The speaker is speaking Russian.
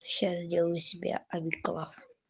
сейчас сделаю себе абиклав